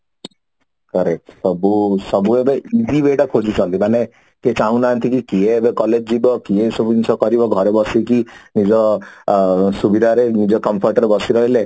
correct ସବୁ ସବୁ ଆଡେ ଖୋଜୁଛନ୍ତି ମାନେ ସେ ଚାହୁଁ ନାହାନ୍ତି କି କିଏ ଏବେ collage ଯିବ କିଏ ଏସବୁ ଜିନିଷ କରିବ ଘରେ ବସିକି ଏ ଯୋଉ ଆ ସୁବିଧାରେ ନିଜ comfort ରେ ବସି ରହିଲେ